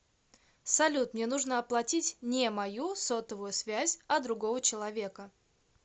салют мне нужно оплатить не мою сотовую связь а другого человека